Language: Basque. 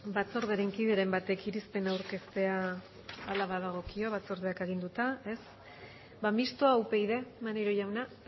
batzordearen kideren batek irizpena aurkeztea hala badagokio batzordeak aginduta ez ba mistoa upyd maneiro jauna